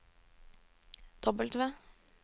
W